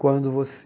Quando você